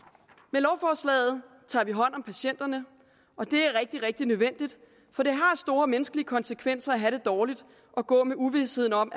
med lovforslaget tager vi hånd om patienterne og det er rigtig rigtig nødvendigt for det har store menneskelige konsekvenser at have det dårligt og gå med uvisheden om